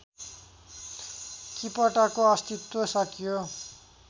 किपटको अस्तित्व सकियो